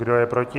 Kdo je proti?